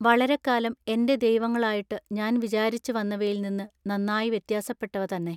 വളരെക്കാലം എന്റെ ദൈവങ്ങളായിട്ടു ഞാൻ വിചാരിച്ചു വന്നവയിൽ നിന്നു നന്നായി വ്യത്യാസപ്പെട്ടവ തന്നെ.